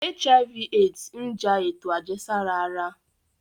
HIV/AIDS n ja eto ajẹsara ara